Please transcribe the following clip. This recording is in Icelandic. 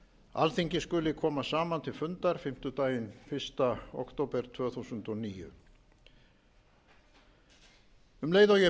alþingi skuli koma saman til fundar fimmtudaginn fyrsta október tvö þúsund og níu um leið og ég